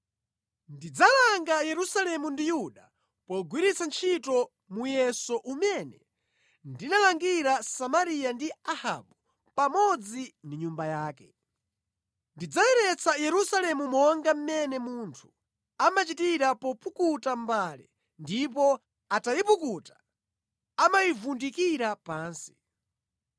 Ndidzalanga Yerusalemu ndi Yuda pogwiritsa ntchito muyeso umene ndinalangira Samariya ndi Ahabu pamodzi ndi nyumba yake. Ndidzayeretsa Yerusalemu monga mmene munthu amachitira popukuta mbale ndipo atayipukuta amayivundikira pansi.